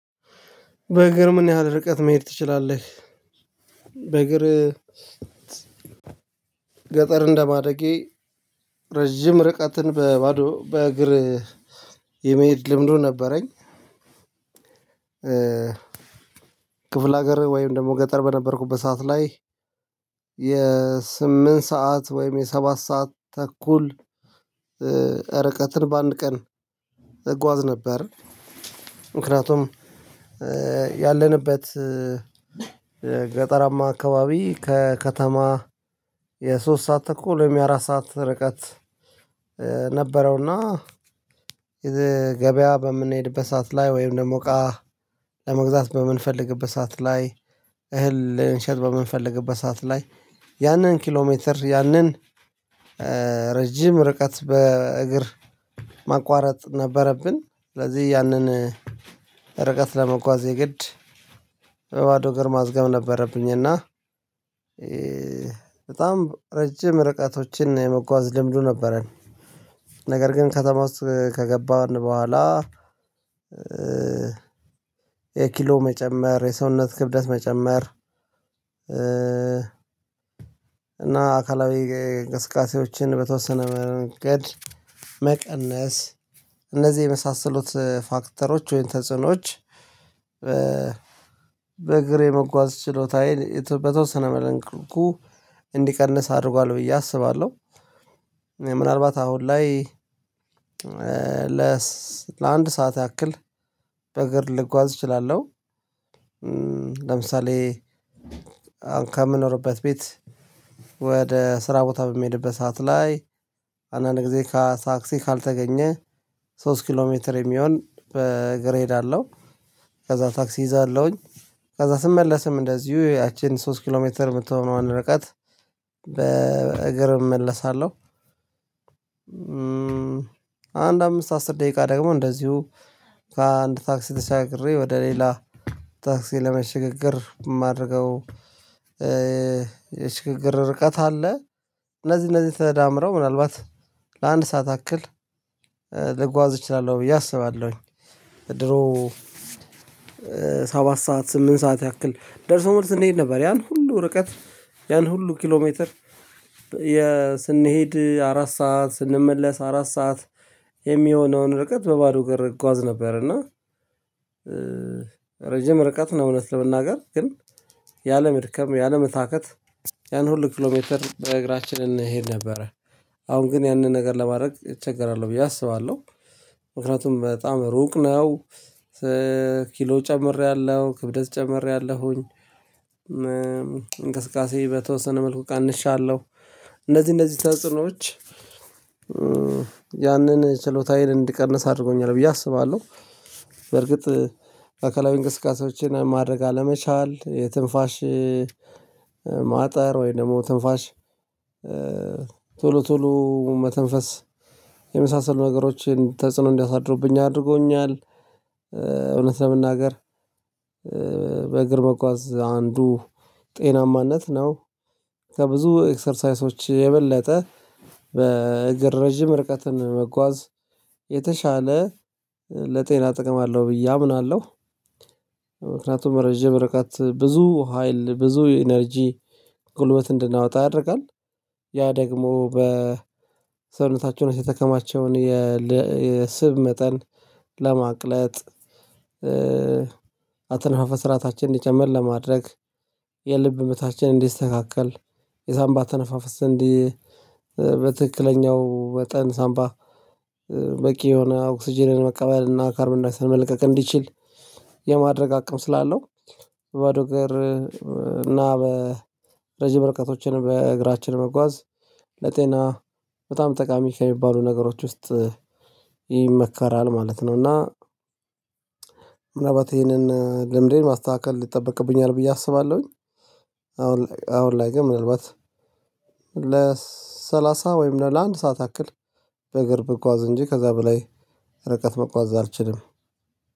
በእግር ምን ያህል ርቀት መሄድ ትችላለህ? በእግር ገጠር እንደማደጌ ረጅም ርቀትን በባዶ እግር የመሄድ ልምዱ ነበረኝ። ክፍለ ሀገር ወይም ደግሞ ገጠር በነበርኩበት ሰዓት ላይ የስምንት ሰዓት ወይም የሰባት ሰዓት ተኩል ርቀትን በአንድ ቀን እጓዝ ነበር። ምክንያቱም ያለንበት ገጠራማ አከባቢ ከከተማ የሶስት ሰዓት ተኩል ወይም የአራት ሰዓት ርቀት ነበረውና ገበያ በምንሄድበት ሰዓት ላይ ወይም ደግሞ እቃ ለመግዛት በምንፈልግበት ሰዓት ላይ እህል ልንሸጥ በምንፈልግበት ሰዓት ላይ ያንን ኪሎሜትር ያንን ረጅም ርቀት በእግር ማቋረጥ ነበረብን። ስለዚህ ያንን ርቀት ለመጓዝ የግድ በባዶ እግር ማዝገም ነበረብኝ። እና በጣም ረጅም ርቀቶችን የመጓዝ ልምዱ ነበረን ነገር ግን ከተማ ውስጥ ከገባን በኋላ። የኪሎ መጨመር የሰውነት ክብደት መጨመር እና አካላዊ እንቅስቃሴዎችን በተወሰነ መንገድ መቀነስ እነዚህ የመሳሰሉት ፋክተሮች ወይም ተጽዕኖዎች። በእግሬ መጓዝ ችሎታዬን በተወሰነ መልኩ እንዲቀንስ አድርጓል ብዬ አስባለሁ። ምናልባት አሁን ላይ ለአንድ ሰዓት ያክል በእግር ልጓዝ እችላለሁ። ለምሳሌ ከምኖርበት ቤት ወደ ስራ ቦታ በሚሄድበት ሰዓት ላይ አንዳንድ ጊዜ ከታክሲ ካልተገኘ ሶስት ኪሎ ሜትር የሚሆን በእግሬ እሄዳለሁ። ከዛ ታክሲ ይዛለሁኝ ከዛ ስመለስም እንደዚሁ ያቺን ሶስት ኪሎ ሜትር የምትሆነው ረቃት በእግር እመለሳለሁ። አንድ አምስት አስር ደቂቃ ደግሞ እንደዚሁ ከአንድ ታክሲ ተሻግሬ ወደ ሌላ ታክሲ ለመሸጋገር የማደርገው የሽግግር ርቀት አለ። እነዚህ እነዚህ ተዳምረው ምናልባት ለአንድ ሰዓት አክል ልጓዝ እችላለሁ ብዬ አስባለሁኝ። ድሮ ሰባት ሰዓት ስምንት ሰዓት ያክል ደርሶ መልስ እንሄድ ነበር ያን ሁሉ ርቀት ያን ሁሉ ኪሎ ሜትር ስንሄድ አራት ሰዓት ስንመለስ አራት ሰዓት የሚሆነውን ርቀት በባዶ እግር እጓዝ ነበር። እና ረጅም ርቀት ነው እውነት ለመናገር ግን ያለመድከም ያለመታከት ያን ሁሉ ኪሎሜትር በእግራችን እንሄድ ነበረ። አሁን ግን ያንን ነገር ለማድረግ እቸገራለሁ ብዬ አስባለሁ። ምክንያቱም በጣም ሩቅ ነው። ኪሎ ጨምሬያለሁ ክብደት ጨምሬያለሁኝ። እንቅስቃሴ በተወሰነ መልኩ ቀንሻለሁ እነዚህ እነዚህ ተጽዕኖዎች ያንን ችሎታ ሀይል እንድቀንስ አድርጎኛል ብዬ አስባለሁ። በርግጥ አካላዊ እንቅስቃሴዎችን ማድረግ አለመቻል የትንፋሽ ማጠር ወይ ደግሞ ትንፋሽ ቶሎ ቶሎ መተንፈስ የመሳሰሉ ነገሮችን ተጽዕኖ እንዲያሳድሩብኝ አድርጎኛል። እውነት ለመናገር በእግር መጓዝ አንዱ ጤናማነት ነው። ከብዙ ኤክሰርሳይሶች የበለጠ በእግር ረጅም ርቀትን መጓዝ የተሻለ ለጤና ጥቅም አለው ብዬ አምናለሁ። ምክንያቱም ረጅም ርቀት ብዙ ሀይል ብዙ ኢነርጂ ጉልበት እንድናወጣ ያደርጋል። ያ ደግሞ በሰውነታችን ውስጥ የተከማቸውን የስብ መጠን ለማቅለጥ። አተነፋፈስ ስርዐታችን እንዲጨምር ለማድረግ የልብ ምታችንን እንዲስተካከል የሳንባ አተነፋፈስ እንዲ እንዲህ በትክክለኛው ወጠን ሳምባ በቂ የሆነ ኦክሲጅን መቀበል እና ካርብንዳይ ኦክሳይድ መልቀቅ እንዲችል የማድረግ አቅም ስላለው። በባዶ እግር እና በረጅም ርቀቶችን በእግራችን መጓዝ ለጤና በጣም ጠቃሚ ከሚባሉ ነገሮች ውስጥ ይመከራል ማለት ነው። እና ምናባት ይሄንን ልምዴን ማስተካከል ይጠበቅብኛል ብዬ አስባለሁኝ። አሁን ላይ አሁን ላይ ግን ምናልባት ለሰላሳ ወይም ለአንድ ሰዓት ያክል በእግር ብጓዝ እንጂ ከዛ በላይ ርቀት መጓዝ አልችልም።